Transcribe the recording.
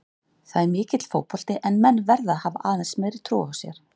Það er mikill fótbolti en menn verða að hafa aðeins meiri trú á sér.